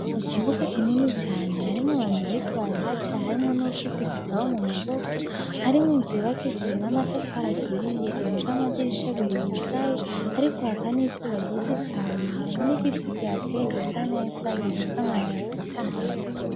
Ikibuga kinini cane harimwo abantu bariko barahaca harimwo nuwufise igitabo mumaboko harimwo inzu yubakishijwe amatafari aturiye ifise amadirisha abiri yugaye hariko haka n'izuba ryinshi cane harimwo igiti kihateye gIsa neza gifise amababi atotahaye.